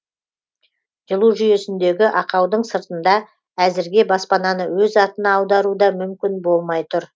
жылу жүйесіндегі ақаудың сыртында әзірге баспананы өз атына аудару да мүмкін болмай тұр